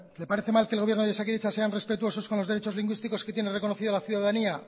le parece mal que el gobierno y osakidetza sea respetuosos con los derechos lingüísticos que tiene reconocida la ciudadanía